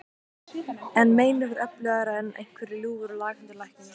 En meinið var öflugra en einhver ljúfur og laghentur læknir.